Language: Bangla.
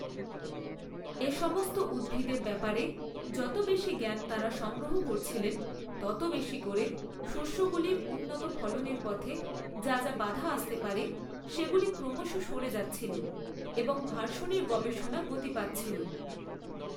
এসমস্ত উদ্ভিদের ব্যাপারে যত বেশী জ্ঞান তাঁরা সংগ্রহ করছিলেন, তত বেশী করে শস্যগুলির উন্নত ফলনের পথে যা যা বাধা আসতে পারে সেগুলি ক্রমশ সরে যাচ্ছিল এবং ভার্শনির গবেষণা গতি পাচ্ছিল।